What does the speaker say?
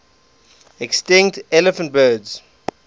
extinct elephant birds